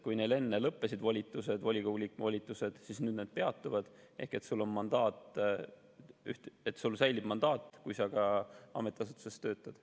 Kui neil enne volitused lõppesid, siis nüüd volikogu liikme volitused peatuvad ehk sul säilib mandaat, kui sa ka ametiasutuses töötad.